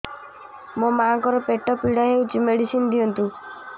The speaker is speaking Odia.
ମୋ ମାଆଙ୍କର ପେଟ ପୀଡା ହଉଛି ମେଡିସିନ ଦିଅନ୍ତୁ